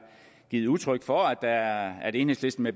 givet udtryk for at at enhedslisten